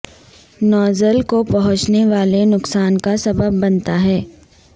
nozzle کو پہنچنے والے نقصان کا سبب بنتا ہے